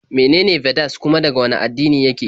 Menene Vedas kuma daga wane addini yake?